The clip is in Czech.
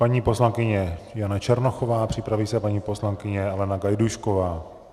Paní poslankyně Jana Černochová, připraví se paní poslankyně Alena Gajdůšková.